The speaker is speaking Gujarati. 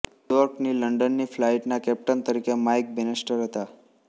ન્યૂયોર્કથી લંડનની ફલાઈટના કેપ્ટન તરીકે માઈક બેનિસ્ટર હતા